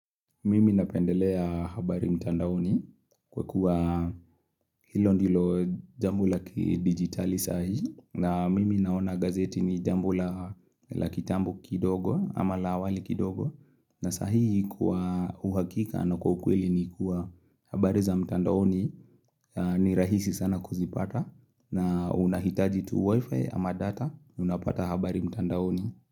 Mimi napendelea habari mtandaoni kwa kuwa hilo ndilo jambo la kidigitali saa hii, na mimi naona gazeti ni jambo la kitambo kidogo ama la awali kidogo. Na saa hii kuwa uhakika na kwa ukweli ni kuwa habari za mtandaoni. Ni rahisi sana kuzipata. Na unahitaji tu wifi ama data, unapata habari mtandaoni.